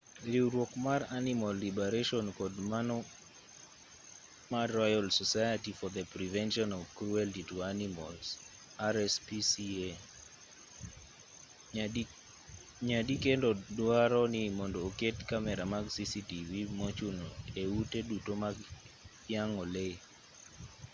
riwruok mar animal liberation kod mano mar royal society for the prevention of cruelty to animals rspca nyadikendo duaro ni mondo oket kamera mag cctv mochuno e ute duto mag yang'o lee